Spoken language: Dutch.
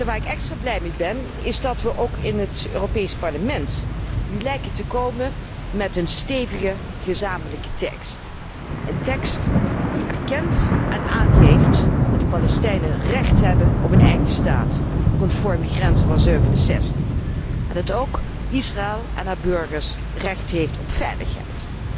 Waar ik extra blij mee ben is dat we ook in het Europees Parlement nu lijken te komen met een stevige gezamenlijke tekst, een tekst die erkent en aangeeft dat de Palestijnen recht hebben op een eigen staat, conform de grenzen van '67, en dat ook Israël, en haar burgers, recht heeft op veiligheid.